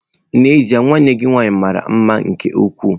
N'ezie nwanne gị nwanyị mara mma nke ukwuu.